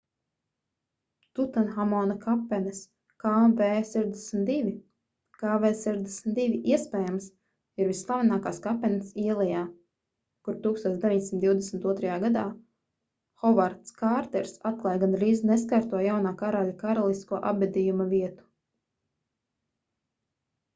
tutanhamona kapenes kv62. kv62 iespējams ir visslavenākās kapenes ielejā kur 1922. gadā hovards kārters atklāja gandrīz neskarto jaunā karaļa karalisko apbedījuma vietu